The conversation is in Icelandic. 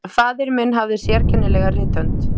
Faðir minn hafði sérkennilega rithönd.